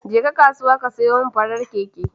Jeka kasuwa ka sayo mini farin keke.